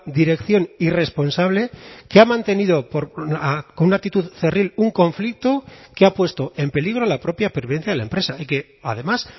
dirección irresponsable que ha mantenido con una actitud cerril un conflicto que ha puesto en peligro la propia pervivencia de la empresa y que además